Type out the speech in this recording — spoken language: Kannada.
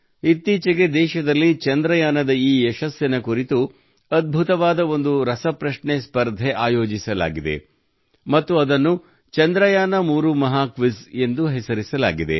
ಇತ್ತೀಚೆಗೆ ದೇಶದಲ್ಲಿ ಚಂದ್ರಯಾನದ ಈ ಯಶಸ್ಸಿನ ಕುರಿತು ಅದ್ಭುತವಾದ ಒಂದು ರಸಪ್ರಶ್ನೆ ಸ್ಪರ್ಧೆ ಆಯೋಜಿಸಲಾಗಿದೆ ಮತ್ತು ಅದನ್ನು ಚಂದ್ರಯಾನ3 ಮಹಾಕ್ವಿಜ್ ಎಂದು ಹೆಸರಿಸಲಾಗಿದೆ